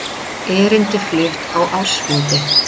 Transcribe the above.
Erindi flutt á ársfundi